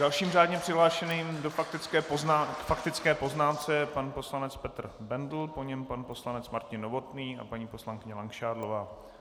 Dalším řádně přihlášeným k faktické poznámce je pan poslanec Petr Bendl, po něm pan poslanec Martin Novotný a paní poslankyně Langšádlová.